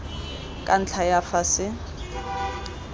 ka ntlha ya fa se